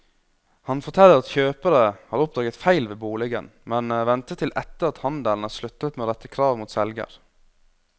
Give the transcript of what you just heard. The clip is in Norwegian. Han forteller at kjøpere har oppdaget feil ved boligen, men ventet til etter at handelen er sluttet med å rette krav mot selger.